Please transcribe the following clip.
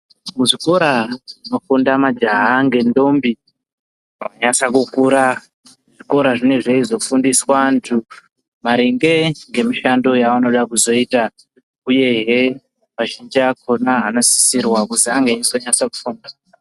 Muzvikora zvinofunda majaya ngentombi, zvakanyasakukura. Zvikora zvonaizvozvo zvinofundiswa antu maringe ngemushando yavanoda kuzoita, uyehe mateacher akona anosisirwa.